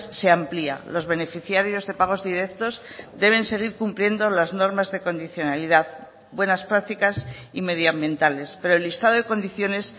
se amplia los beneficiarios de pagos directos deben seguir cumpliendo las normas de condicionalidad buenas prácticas y medioambientales pero el listado de condiciones